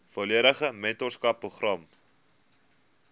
volledige mentorskap program